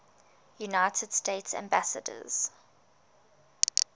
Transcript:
united states ambassadors